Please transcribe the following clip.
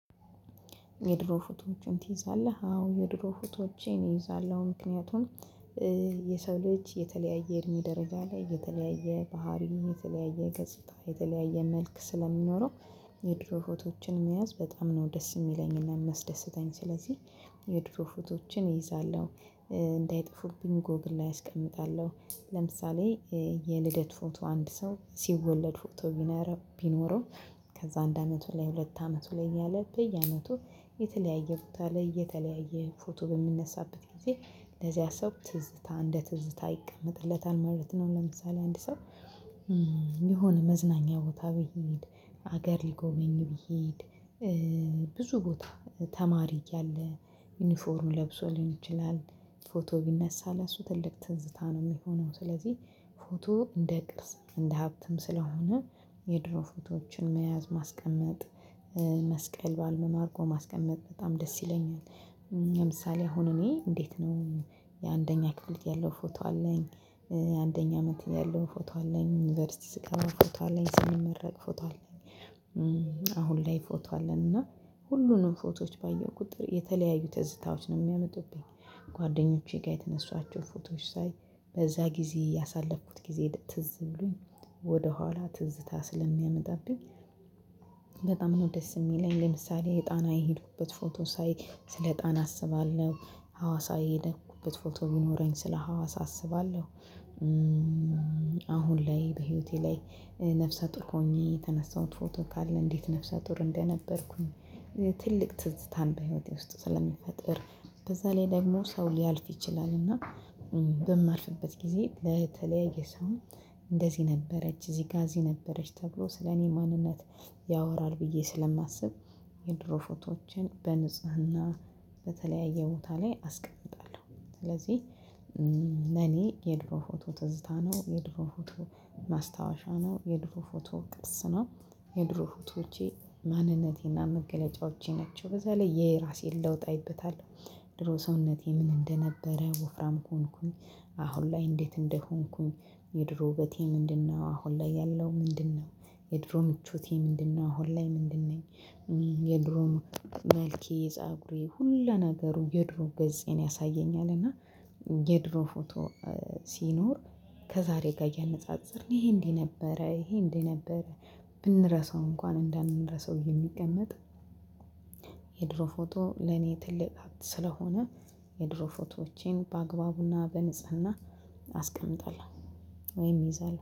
የድሮ ፎቶዎችን ትይዛለህ አዎ የድሮ ፎቶዎቼን እይዛለሁ ምክንያቱም የሰው ልጅ የተለያየ እድሜ ደረጃ ላይ የተለያየ ባህሪ የተለያየ ገጽታ የተለያየ መልክ ስለሚኖረው የድሮ ፎቶችን መያዝ በጣም ነው ደስ የሚለኝና የሚያስደስተኝ ስለዚህ የድሮ ፎቶችን እይዛለሁ። እንዳይጠፉብኝ ጎግል ላይ አስቀምጣለሁ ለምሳሌ የልደት ፎቶ አንድ ሰው ሲወለድ ፎቶ ቢነረው ቢኖረው ከዛ አንድ አመቱ ላይ ሁለት አመቱ ላይ እያለ በየአመቱ የተለያየ ቦታ ላይ የተለያየ ፎቶ በሚነሳበት ጊዜ ለዚያ ሰው ትዝታ እንደ ትዝታ ይቀመጥለታል ማለት ነው። ለምሳሌ አንድ ሰው የሆነ መዝናኛ ቦታ ቢሄድ ሀገር ሊጎበኝ ቢሄድ ብዙ ቦታ ተማሪ እያለ ዩኒፎርም ለብሶ ሊሆን ይችላል ፎቶ ቢነሳ ለእሱ ትልቅ ትዝታ ነው የሚሆነው። ስለዚህ ፎቶ እንደ ቅርስ እንደ ሀብትም ስለሆነ የድሮ ፎቶዎችን መያዝ ማስቀመጥ መስቀል በአልበም አድርጎ ማስቀመጥ በጣም ደስ ይለኛል። ለምሳሌ አሁን እኔ እንዴት ነው? የአንደኛ ክፍል ያለው ፎቶ አለኝ አንደኛ አመት ያለው ፎቶ አለኝ ዩኒቨርሲቲ ስገባ ፎቶ አለኝ ስንመረቅ ፎቶ አለኝ አሁን ላይ ፎቶ አለን እና ሁሉንም ፎቶዎች ባየሁ ቁጥር የተለያዩ ተዝታዎች ነው የሚያመጡብኝ። ጓደኞቼ ጋር የተነሳዋቸው ፎቶዎች ሳይ በዛ ጊዜ ያሳለፍኩት ጊዜ ትዝ ብሎኝ ወደ ኋላ ትዝታ ስለሚያመጣብኝ። በጣም ነው ደስ የሚለኝ። ለምሳሌ የጣና የሄድኩበት ፎቶ ሳይ ስለ ጣና አስባለሁ ሀዋሳ የሄደኩበት ፎቶ ቢኖረኝ ስለ ሀዋሳ አስባለሁ። አሁን ላይ በህይወቴ ላይ ነፍሰ ጡር ሆኜ የተነሳሁት ፎቶ ካለ እንዴት ነፍሳ ጡር እንደነበርኩኝ። ትልቅ ትዝታን በህይወቴ ውስጥ ስለምፈጥር በዛ ላይ ደግሞ ሰው ሊያልፍ ይችላል እና በማልፍበት ጊዜ ለተለያየ ሰው እንደዚህ ነበረች እዚህ ጋር እዚህ ነበረች ተብሎ ስለኔ ማንነት ያወራል ብዬ ስለማስብ። የድሮ ፎቶዎችን በንጽህና በተለያየ ቦታ ላይ አስቀምጣለሁ ስለዚህ። ለኔ የድሮ ፎቶ ትዝታ ነው የድሮ ፎቶ ማስታወሻ ነው የድሮ ፎቶ ቅርስ ነው። የድሮ ፎቶዎቼ ማንነቴና መገለጫዎቼ ናቸው። በዛ ላይ የየራሴን ለውጥ አይበታለው ድሮ ሰውነቴ ምን እንደነበረ ወፍራም ሆንኩኝ። አሁን ላይ እንዴት እንደሆንኩኝ የድሮ ውበቴ ምንድነው አሁን ላይ ያለው ምንድነው? የድሮ ምቾቴ ምንድነው አሁን ላይ ምንድነኝ? የድሮ መልኬ የፀጉሬ ሁሉ ነገሩ የድሮ ገፄን ያሳየኛል እና የድሮ ፎቶ ሲኖር ከዛሬ ጋር እያነጻጸርን ይሄ እንዲህ ነበረ ይሄ እንዲህ ነበረ። ብንረሳው እንኳን እንዳንረሳው የሚቀመጥ የድሮ ፎቶ ለኔ ትልቅ ስለሆነ። የድሮ ፎቶዎቼን በአግባቡና በንጽህና አስቀምጣለሁ። ወይም እይዛሁ